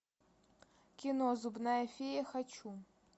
кино зубная фея хочу